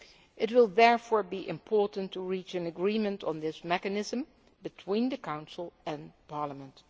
It will therefore be important to reach an agreement on this mechanism between the Council and Parliament.